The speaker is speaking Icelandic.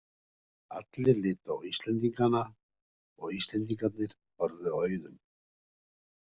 Allir litu á Íslendingana og Íslendingarnir horfðu á Auðun.